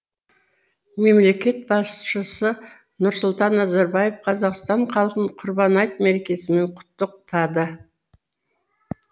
мемлекет басшысы нұрсұлтан назарбаев қазақстан халқын құрбан айт мерекесімен құттықтады